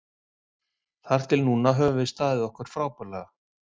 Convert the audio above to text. Þar til núna höfum við staðið okkur frábærlega.